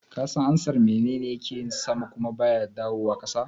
Ka san ansar "Menene yake yin sama kuma baya dawowa ƙasa"?